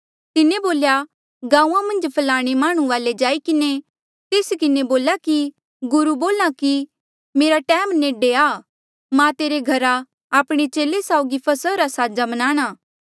तिन्हें बोल्या गांऊँआं मन्झ फ्लाणे माह्णुं वाले जाई किन्हें तेस किन्हें बोला कि गुरु बोल्हा कि मेरा टैम नेडे आ मां तेरे घरा आपणे चेले साउगी फसहा रा साजा मनाणा